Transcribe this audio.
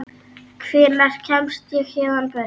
Hvenær kemst ég héðan burt?